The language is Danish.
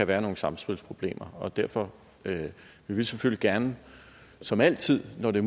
være nogle samspilsproblemer og derfor vil vi selvfølgelig gerne som altid når det